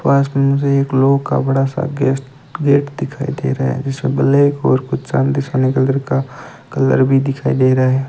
पास में से एक लोह का बड़ा सा गेस्ट गेट दिखाई दे रहा हैं जिसमें ब्लैक और कुछ चांदी सोने का कलर का कलर भी दिखाई दे रहा हैं।